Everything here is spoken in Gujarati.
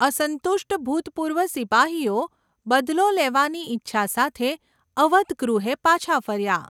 અસંતુષ્ટ ભૂતપૂર્વ સિપાહીઓ બદલો લેવાની ઇચ્છા સાથે અવધ ગૃહે પાછા ફર્યા.